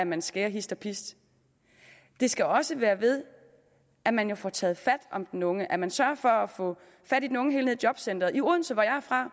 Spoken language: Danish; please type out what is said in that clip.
man skærer hist og pist det skal også være ved at man får taget fat om den unge og at man sørger for at få fat i den unge henne i jobcenteret i odense hvor jeg er fra